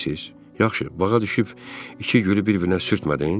Yaxşı, bağa düşüb iki gülü bir-birinə sürtmədin?